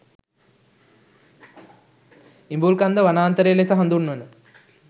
ඉලූඹකන්ද වනාන්තරය ලෙස හඳුන්වන